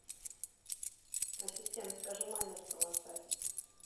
ассистент закажи майонез провансаль